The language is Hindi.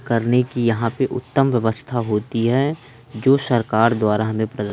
करने की यहां पे उत्तम व्यवस्था होती है जो सरकार द्वारा हमें--